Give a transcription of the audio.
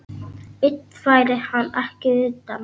Einn færi hann ekki utan.